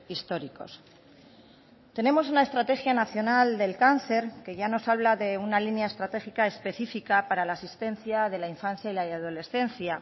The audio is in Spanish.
históricos tenemos una estrategia nacional del cáncer que ya nos habla de una línea estratégica específica para la asistencia de la infancia y la adolescencia